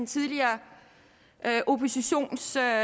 tidligere oppositionsleder